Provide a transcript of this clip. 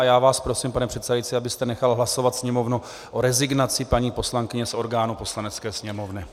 A já vás prosím, pane předsedající, abyste nechal hlasovat Sněmovnu o rezignaci paní poslankyně z orgánů Poslanecké sněmovny.